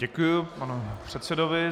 Děkuji panu předsedovi.